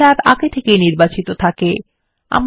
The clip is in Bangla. বর্ডের ট্যাব আগে থেকেই নির্বাচিত থাকে